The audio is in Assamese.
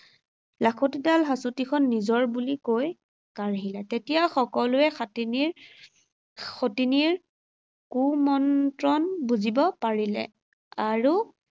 লাখুটিডাল, হাঁচতিখন নিজৰ বুলি কৈ কাঢ়িলে। তেতিয়া সকলোৱে সাতিনীৰ, সতিনীৰ, কুমন্ত্ৰণ বুজিব পাৰিলে আৰু